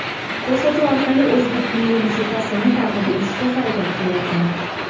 Ko‘rsatuv orqali o‘zbek milliy musiqasini targ‘ib etishga harakat qilyapman.